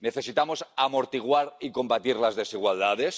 Necesitamos amortiguar y combatir las desigualdades.